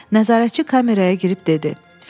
Nəzarətçi kameraya girib dedi: